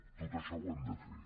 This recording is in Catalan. tot això ho hem de fer